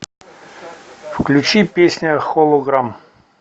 включи песня холограм